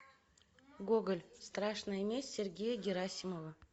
гоголь страшная месть сергея герасимова